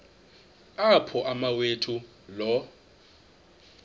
apho umawethu lo